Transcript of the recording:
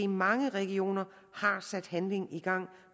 mange regioner har sat handling i gang